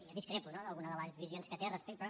jo discrepo no d’alguna de les visions que té respecte